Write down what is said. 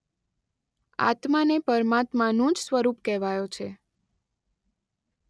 આત્માને પરમાત્માનું જ સ્વરૂપ કહેવાયો છે.